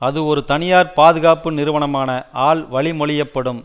அது ஒரு தனியார் பாதுகாப்பு நிறுவனமான ஆல் வழிமொழியப்படும்